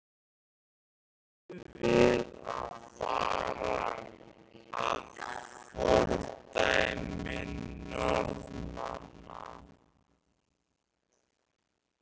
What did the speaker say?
Sindri: Ættum við að fara að fordæmi Norðmanna?